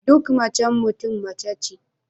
Duk macen Mutum mace ce